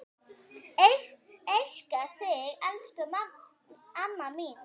Elska þig elsku amma mín.